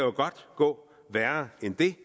gå værre end det